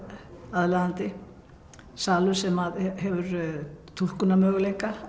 aðlaðandi salur sem hefur túlkunarmöguleika